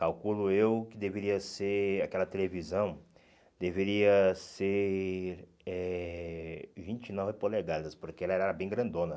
Calculo eu que deveria ser, aquela televisão, deveria ser eh vinte e nove polegadas, porque ela era bem grandona.